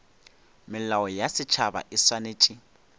melao ya setšhaba e swanetše